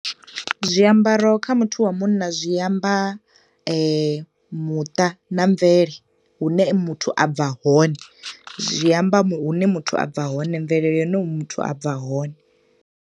Zwiambaro kha muthu wa munna zwi amba muṱa na mvele, hu ne muthu abva hone, zwi amba hune muthu a bva hone, mvelele ine muthu a bva hone.